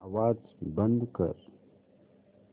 आवाज बंद कर